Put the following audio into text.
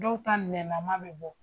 Dɔw ta nɛnnaman be bɔ.